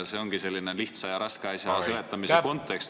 See ongi selline lihtsa ja raske asja seletamise kontekst ...